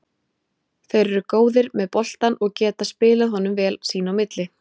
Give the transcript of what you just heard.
Þeir eru góðir með boltann og geta spilað honum vel sín á milli.